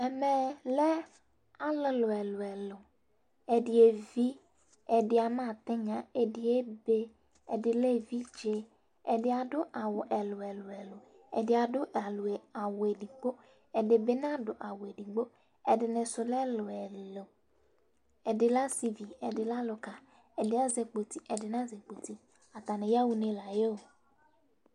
Eme lɛ alʋlʋ ɛlʋ ɛlʋ ɛdi evi ɛdi ama tinya ɛdi ebe ɛdi lɛ evidze ɛdi adʋ awʋ ɛlʋ ɛlʋ ɛlʋ ɛdi adʋ awʋ ɛdigbo ɛdibi nadʋ awʋ ɛdinisʋ ɛlʋ ɛlʋ ɛlʋ ɛdi lɛ asivi ɛdi lɛ alʋka ɛdi azɛ kpoti ɛdi nazɛ kpoti atani yaxa une layɛ o